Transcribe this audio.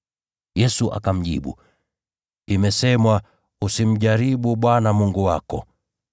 Yesu akamjibu, “Imesemwa, ‘Usimjaribu Bwana Mungu wako.’ ”